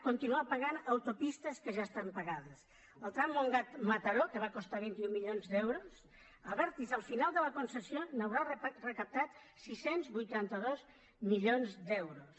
continuar pagant autopistes que ja estan pagades el tram montgat mataró que va costar vint un milions d’euros abertis al final de la concessió haurà recaptat sis cents i vuitanta dos milions d’euros